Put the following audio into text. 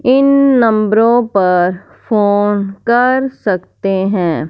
इन नंबरों पर फोन कर सकते हैं।